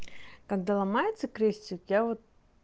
когда ломается крестик я вот